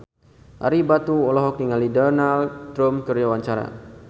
Ario Batu olohok ningali Donald Trump keur diwawancara